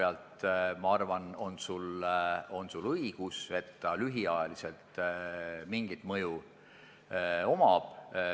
Ja ma arvan, et selle koha pealt on sul õigus, et ta lühiajaliselt mingit mõju omab.